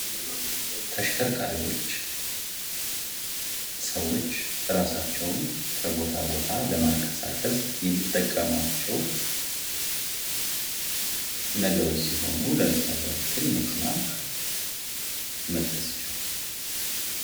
ተሽከርካሪዎች ሰዎች ራሳቸውን ከቦታ ቦታ ለማንቀሳቀስ ከሚጠቀሟቸው ነገሮች ሲሆኑ ለምሳሌ ያክል መኪና መጥቀስ ይቻላል።